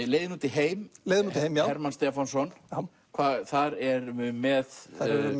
leiðin út í heim leiðin út í heim já Hermann Stefánsson þar erum við með